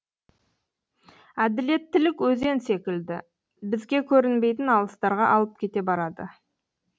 әділеттілік өзен секілді бізге көрінбейтін алыстарға ағып кете барады